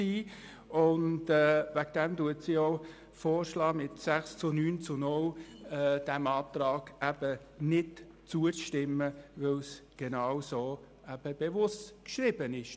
Aus diesem Grund schlägt Sie mit 6 zu 9 zu 0 Stimmen vor, diesem Antrag nicht zuzustimmen, weil die Formulierung mit dem Wort «grundsätzlich» bewusst so geschrieben wurde.